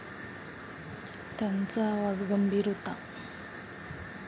त्याचा आवाज गंभीर होता.